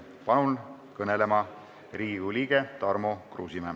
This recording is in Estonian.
Palun kõnelema Riigikogu liikme Tarmo Kruusimäe.